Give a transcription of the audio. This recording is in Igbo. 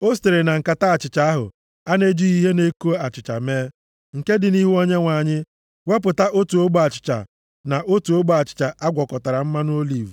O sitere na nkata achịcha ahụ a na-ejighị ihe na-eko achịcha mee, nke dị nʼihu Onyenwe anyị, wepụta otu ogbe achịcha, na otu ogbe achịcha a gwakọtara mmanụ oliv,